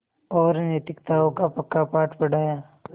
और नैतिकताओं का पक्का पाठ पढ़ाया